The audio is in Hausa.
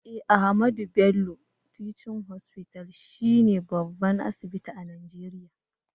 Eh, Ahmadu Bello Teaching hospital she ne babban asibiti a nageria.